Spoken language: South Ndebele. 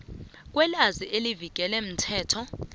kwelwazi elivikelwe mthetho